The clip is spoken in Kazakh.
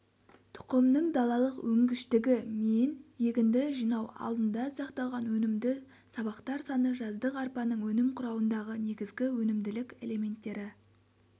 тұқымның далалық өнгіштігі мен егінді жинау алдында сақталған өнімді сабақтар саны жаздық арпаның өнім құрауындағы негізгі өнімділік элементтері